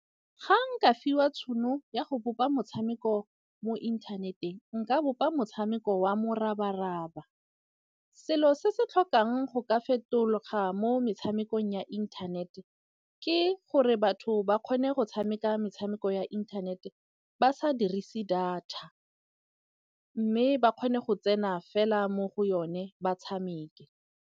Ga nka fiwa tšhono ya go bopa motshameko mo inthaneteng, nka bopa motshameko wa morabaraba. Selo se se tlhokang go ka fetologa mo metshamekong ya inthanete ke gore batho ba kgone go tshameka metshameko ya inthanete ba sa dirise data. Mme ba kgone go tsena fela mo go yone ba tshameke.